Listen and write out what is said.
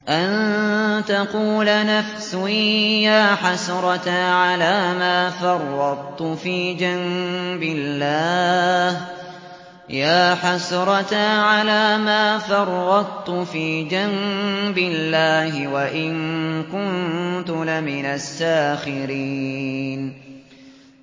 أَن تَقُولَ نَفْسٌ يَا حَسْرَتَا عَلَىٰ مَا فَرَّطتُ فِي جَنبِ اللَّهِ وَإِن كُنتُ لَمِنَ السَّاخِرِينَ